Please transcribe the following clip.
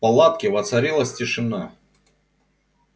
в палатке воцарилась тишина